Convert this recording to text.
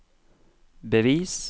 bevis